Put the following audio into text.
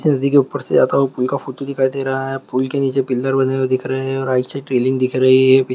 नदी के ऊपर से ज्यादा ओपन का फोटो दिखाई दे रहा है फूलों के नीचे पिलर बने हुए दिख रहे है और आइसे ट्रेनिंग दिख रही है।